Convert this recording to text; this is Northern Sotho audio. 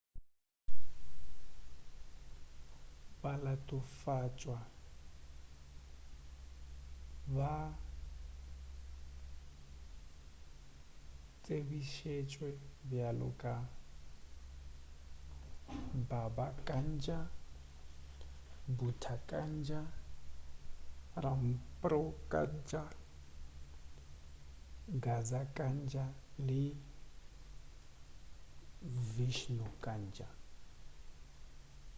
balatofatšwa ba tsebišitšwe bjalo ka baba kanjar bhutha kanjar rampro kanjar gaza kanjar le vishnu kanjar